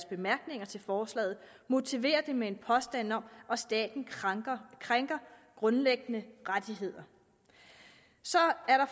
bemærkningerne til forslaget motiverer det med en påstand om at staten krænker krænker grundlæggende rettigheder så er